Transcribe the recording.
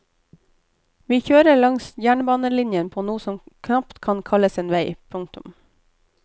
Vi kjører langs jernbanelinjen på noe som knapt kan kalles vei. punktum